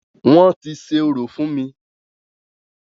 Wọ́n ti ṣe orò fún mí.